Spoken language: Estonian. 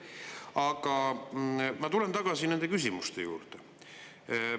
Aga ma tulen tagasi nende küsimuste juurde.